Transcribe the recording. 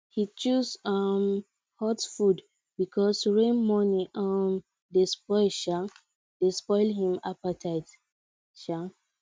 he choose um hot food because rain morning um dey spoil um dey spoil him appetite um